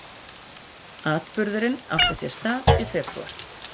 Atburðurinn átti sér stað í febrúar